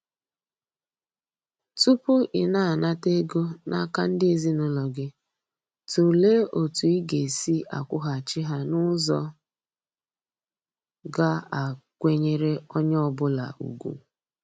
Tupu ị na-anata ego n'aka ndị ezinaụlọ gị, tụlee otu ị ga-esi akwụghachi ha n'ụzọ ga a kwenyere onye ọ bụla ugwu.